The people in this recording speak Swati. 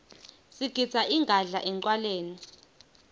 sigidza ingadla encwaleni